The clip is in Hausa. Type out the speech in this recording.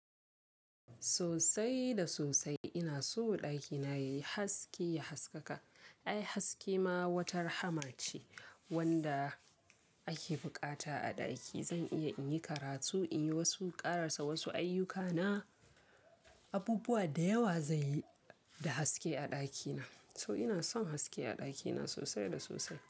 Sosai da sosai ina so ɗakina yayi haske, ya haskaka. Ai haske ma wata rahama ce wanda ake bukata a ɗaki. Zan iya in yi karatu, in yi wasu karasa wasu ayyukana. Abubuwa da yawa zan yi da haske a ɗakina. To ina son haske a ɗakina sosai da sosai.